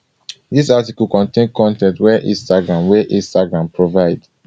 dis article contain con ten t wey instagram wey instagram provide